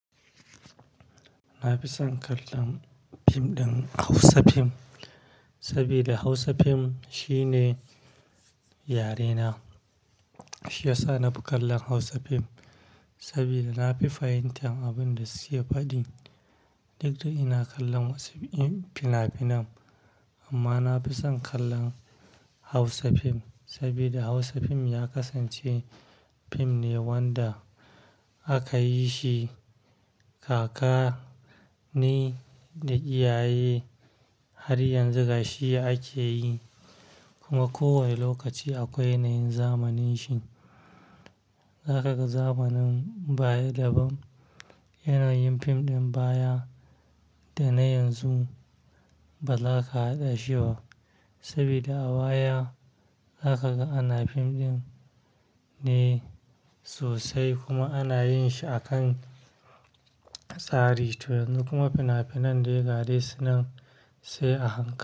Na fi son kallon fim ɗin Hausa fim, sabida Hausa fim shine yare na. Shi ya sa na fi kallon Hausa fim, sabida na fi fahimtan abin da suke faɗi. Duk da ina kallon wasu fina-finan amma na fi son kallon Hausa fim. Sabida Hausa fim ya kasance fim ne wanda aka yi shi kaka ne da iyaye har yanzu gashi ake yi. Kuma ko wani lokaci akwai yanayin zamanin shi. Haka ga zamanin baya daban, yanayin fim ɗin baya da na yanzu ba za ka haɗa shi ba. Sabida a baya haka ga ana fim ɗin ne sosai kuma ana yin shi a kan tsari to yanzu kuma fina-finan dai gadai sunan sai a hanka.